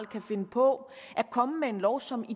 kan finde på at komme med en lov som i